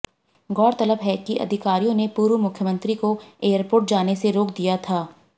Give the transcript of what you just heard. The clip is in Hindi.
गौरतलब है कि अधिकारियों ने पूर्व मुख्यमंत्री को एयरपोर्ट जाने से रोक दिया था